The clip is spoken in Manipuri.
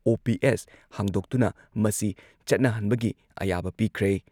ꯑꯣ.ꯄꯤ.ꯑꯦꯁ ꯍꯥꯡꯗꯣꯛꯇꯨꯅ ꯃꯁꯤ ꯆꯠꯅꯍꯟꯕꯒꯤ ꯑꯌꯥꯕ ꯄꯤꯈ꯭ꯔꯦ ꯫